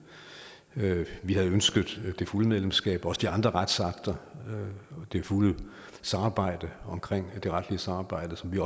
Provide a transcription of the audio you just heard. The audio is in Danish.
vi havde ønsket det fulde medlemskab også de andre retsakter og det fulde samarbejde omkring det retlige samarbejde som vi